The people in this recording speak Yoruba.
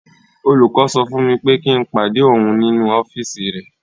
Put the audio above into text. Olùkọ́ sọ fún mi pé kí n pàdé òun nínú ọ́fíìsì rẹ̀.